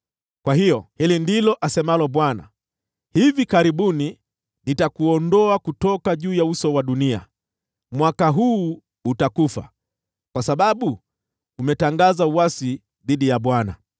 Kwa hiyo, hili ndilo asemalo Bwana : ‘Hivi karibuni nitakuondoa kutoka juu ya uso wa dunia. Mwaka huu utakufa, kwa sababu umetangaza uasi dhidi ya Bwana .’”